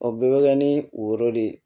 O bɛɛ bɛ kɛ ni o yɔrɔ de ye